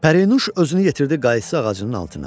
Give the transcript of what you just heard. Pərinuş özünü yetirdi qaysı ağacının altına.